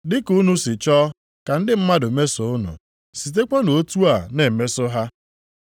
Dịka unu si chọọ ka ndị mmadụ mesoo unu, sitekwanụ otu a na-emeso ha.